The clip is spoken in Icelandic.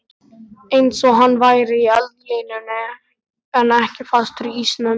Einsog hann væri í eldlínunni en ekki fastur í ísnum.